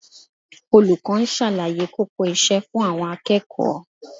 Olùkọ́ ń ṣàlàyé kókó iṣẹ́ fún àwọn akẹ́kọ̀ọ́